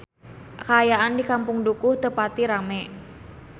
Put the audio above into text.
Kaayaan di Kampung Dukuh teu pati rame